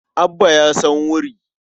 Abba ya san wuri.